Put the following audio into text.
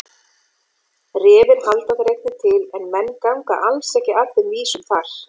Refir halda þar einnig til en menn ganga alls ekki að þeim vísum þar.